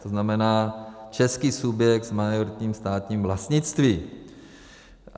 To znamená, český subjekt s majoritním státním vlastnictvím.